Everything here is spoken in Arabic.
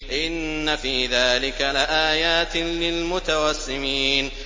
إِنَّ فِي ذَٰلِكَ لَآيَاتٍ لِّلْمُتَوَسِّمِينَ